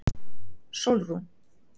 Sólrún